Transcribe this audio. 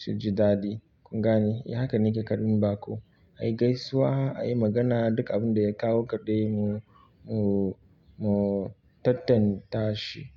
su ji daɗi kun gane? Eh haka nake karɓan baƙo, ayi gaisuwa ayi magana duka abin da ya kawoka kadai mu, mu, mu tattanta shi.